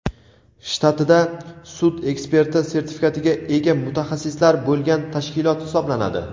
shtatida sud eksperti sertifikatiga ega mutaxassislar bo‘lgan tashkilot hisoblanadi.